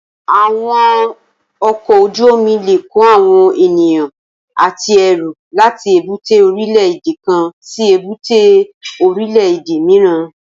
Awòn òkòójùómì lé kó áwòn éniyàn àtí èrú làtí ébùté órilè édé kán si ébùté órilè édé mirán